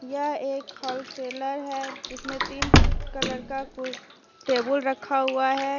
यह एक wholesaler है जिसमें तीन कलर का टेबल रखा हुआ है।